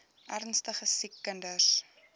ernstige siek kinders